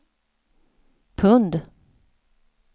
pund